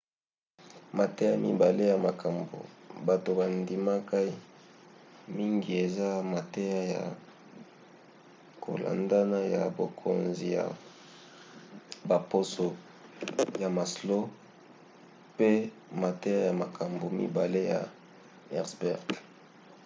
mateya mibale ya makambo bato bandimkai mingi eza mateya ya kolandana ya bokonzi ya baposo ya maslow pe mateya ya makambo mibale ya herzberg